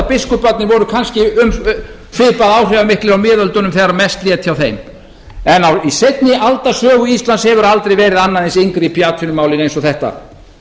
biskuparnir voru kannski svipað áhrifamiklir á miðöldum þegar mest lét hjá þeim en í seinni alda sögu íslands hefur aldrei verið annað eins inngrip í atvinnumálin eins og þetta